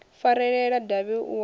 farelela davhi u a wa